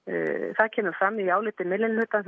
það kemur fram í áliti minnihlutans